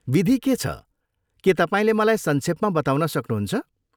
विधि के छ, के तपाईँले मलाई संक्षेपमा बताउन सक्नुहुन्छ?